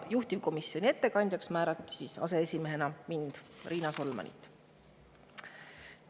Juhtivkomisjoni ettekandjaks määrati aseesimehena mind, Riina Solmanit.